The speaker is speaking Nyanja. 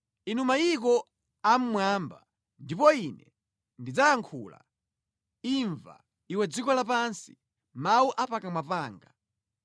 Mverani, inu mayiko a mmwamba ndipo ine ndidzayankhula; imva, iwe dziko lapansi, mawu a pakamwa panga.